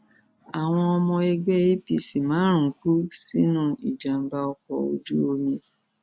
àwọn ọmọ ẹgbẹ apc márùnún kú sínú ìjàmbá ọkọ ojú omi